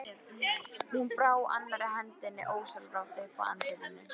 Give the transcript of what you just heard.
Hún brá annarri hendinni ósjálfrátt upp að andlitinu.